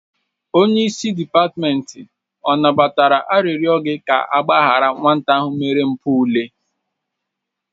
Onyeisi dịpatmenti ọ nabatara arịrọ gi ka agbaharị nwata ahụ mere mpụ ule?